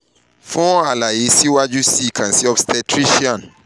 fun alaye siwaju sii kan si obstetrician